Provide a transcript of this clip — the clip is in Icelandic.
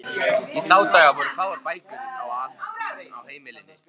Í þá daga voru fáar bækur á heimilum.